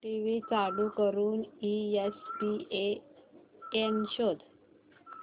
TV चालू करून ESPN शोध